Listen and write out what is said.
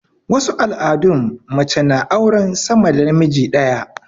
wasu al'adun mace na auran sa da namiji ɗaya